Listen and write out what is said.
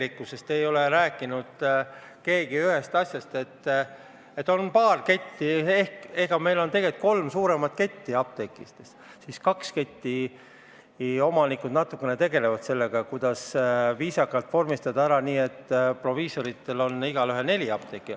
Aga keegi ei ole rääkinud ühest asjast: meil on tegelikult kolm suuremat apteegiketti ja kahe keti omanikud natukene tegelevad sellega, kuidas viisakalt vormistada asjad nii, et igal proviisoril on neli apteeki.